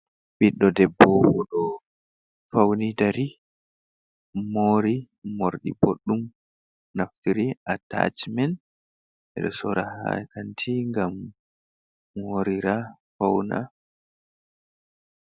Ɓiɗdo debbo oɗo fauni dari, moori moorɗi boɗɗum, naftiri attachmen, ɓe ɗo soora ha kanti ngam moorira fauna.